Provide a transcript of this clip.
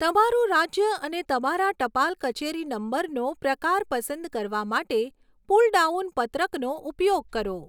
તમારું રાજ્ય અને તમારા ટપાલ કચેરી નંબરનો પ્રકાર પસંદ કરવા માટે પુલડાઉન પત્રકનો ઉપયોગ કરો.